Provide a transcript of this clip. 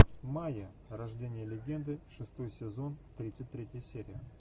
майя рождение легенды шестой сезон тридцать третья серия